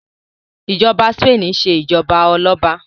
ìjoba Spain ṣe ijọba Ọlọba